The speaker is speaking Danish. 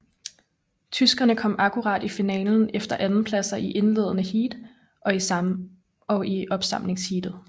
Tyskerne kom akkurat i finalen efter andenpladser i indledende heat og i opsamlingsheatet